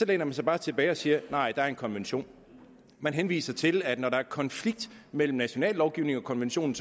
læner man sig bare tilbage og siger nej der er en konvention man henviser til at når der er konflikt mellem national lovgivning og en konvention